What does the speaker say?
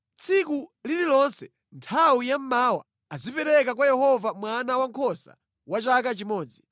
“Tsiku lililonse nthawi ya mmawa azipereka kwa Yehova mwana wankhosa wa chaka chimodzi.